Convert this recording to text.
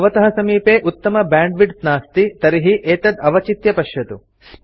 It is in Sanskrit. यदि भवतः समीपे उत्तम बैण्डविड्थ नास्ति तर्हि एतत् अवचित्य पश्यतु